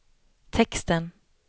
texten